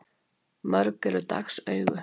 Mörg eru dags augu.